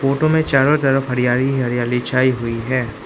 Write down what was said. Photo में चारों तरफ हरियाली ही हरियाली छाई हुई हैं।